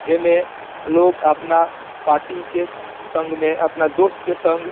ऐमे लोग अपना पार्टी के स संघ में अपना दोस्त के संग --